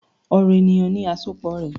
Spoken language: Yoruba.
"Ọrọ eniyan ni asopọ rẹ."